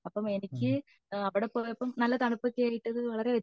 അപ്പൊ എനിക്ക് അവിടെ പോയപ്പോ നല്ല തണുപ്പൊക്കെ ആയിട്ട്